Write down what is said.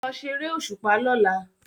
Lọ ṣeré òṣùpá lọla!